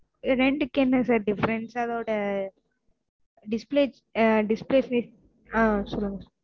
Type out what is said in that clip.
ரெண்டுக்கு என்ன sir difference அதோட அஹ் display அஹ் display size ஹான் சொல்லுங்க